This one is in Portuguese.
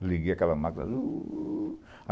Aí liguei aquela máquina.